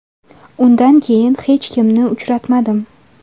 Undan keyin hech kimni uchratmadim.